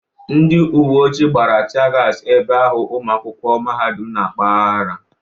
Ndị uwe ojii gbara tie gas ebe ahụ ụmụakwụkwọ mahadụm na-akpa ahara.